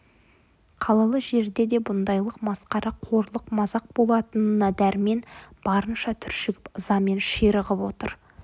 қалалы жерде де бұндайлық масқара қорлық мазақ болатынына дәрмен барынша түршігіп ызамен ширығып отыр